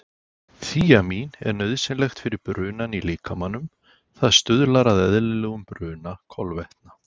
Þíamín er nauðsynlegt fyrir brunann í líkamanum, það stuðlar að eðlilegum bruna kolvetna.